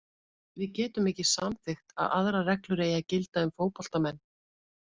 Við getum ekki samþykkt að aðrar reglur eigi að gilda um fótboltamenn.